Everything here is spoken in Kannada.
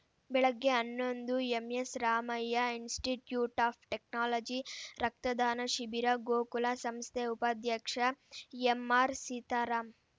ಬೆಳಗ್ಗೆ ಹನ್ನೊಂದು ಎಂಎಸ್‌ರಾಮಯ್ಯ ಇನ್‌ಸ್ಟಿಟ್ಯೂಟ್‌ ಆಫ್‌ ಟೆಕ್ನಾಲಜಿ ರಕ್ತದಾನ ಶಿಬಿರ ಗೋಕುಲ ಸಂಸ್ಥೆ ಉಪಾಧ್ಯಕ್ಷ ಎಂಆರ್‌ಸೀತಾರಾಂ